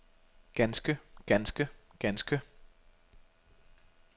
ganske ganske ganske